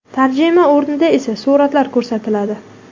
Tarjima o‘rnida esa suratlar ko‘rsatiladi.